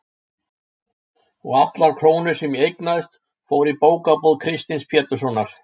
og allar krónur sem ég eignaðist fóru í bókabúð Kristins Péturssonar.